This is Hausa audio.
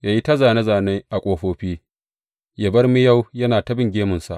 Ya yi ta zāne zāne a ƙofofi, ya bar miyau yana ta bin gemunsa.